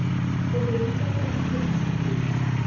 bobedi jwa tsona kgwetlho segolo